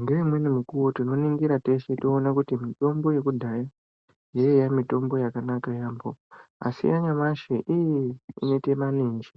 Ngeimweni mikuwo tinoningire teshe toona kuti mitombo yekudhaya yaiye mitombo yakanaka yaamho, ashi yanyamashi inoite maninji,